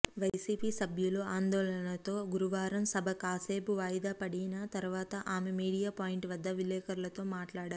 YCP సభ్యులు ఆందోళనతో గురువారం సభ కాసేపు వాయిదా వడిన తర్వాత ఆమె మీడియా పాయింట్ వద్ద విలేకరులతో మాట్లాడారు